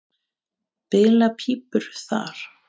Bila ekki pípur þar.